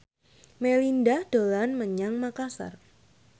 Melinda dolan menyang Makasar